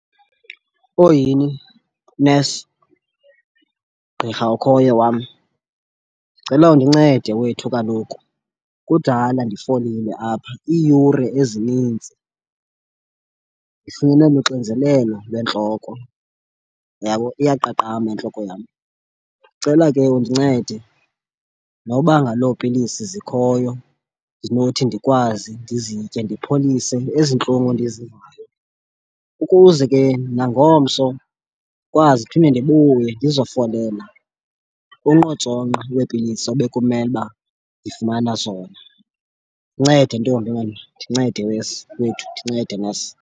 Oyhini nesi, gqirha okhoyo wam ndicela undincede wethu kaloku kudala ndifolile apha iiyure ezinintsi ndifunyenwe luxinzelelo lwentloko, uyabo? Iyaqaqamba intloko yam. Ndicela ke undincede noba ngalo pilisi zikhoyo ndinothi ndikwazi ndizitye ndipholise ezi ntlungu ndizivayo, ukuze ke nangomso ndikwazi ndiphinde ndibuye ndizofolela unkqotsonqa weepilisi obekumele uba ndifumana zona. Ndincede ntombi wena, ndincede wesi wethu, ndincede nesi.